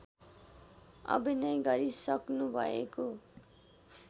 अभिनय गरिसक्नुभएको